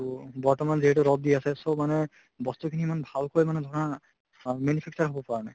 তহ বৰ্তমান যিহেতু ৰʼদ দি আছে so মানে বস্তু খিনি ইমান ভালকৈ মানে ধৰা আ manufacture হৈ পৰা নাই